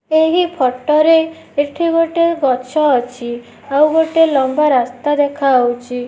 ଏହି ଫୋଟୋ ରେ ଏଠି ଗୋଟେ ଗଛ ଅଛି ଆଉ ଗୋଟେ ଲମ୍ବା ରାସ୍ତା ଦେଖାଯାଉଛି।